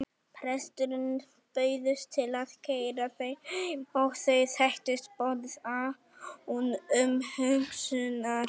Presturinn bauðst til að keyra þau heim og þau þekktust boðið án umhugsunar.